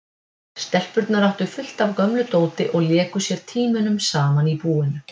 Stelpurnar áttu fullt af gömlu dóti og léku sér tímunum saman í búinu.